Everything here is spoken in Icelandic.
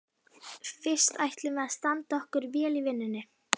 Fyrst ætlum við að standa okkur vel í vinnunni.